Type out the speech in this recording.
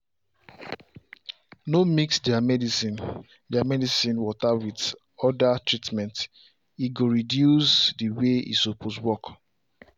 no mix their medicine their medicine water with orda treatmente go reduce the way e suppose work